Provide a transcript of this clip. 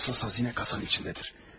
Əsas xəzinə kasanın içindədir.